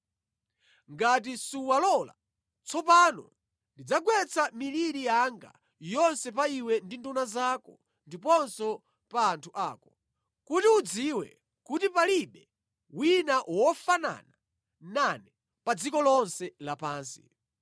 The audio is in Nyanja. Ngati suwalola, tsopano ndidzagwetsa miliri yanga yonse pa iwe ndi nduna zako ndiponso pa anthu ako, kuti udziwe kuti palibe wina wofanana nane pa dziko lonse lapansi.